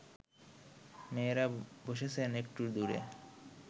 মেয়েরা বসেছেন একটু দূরে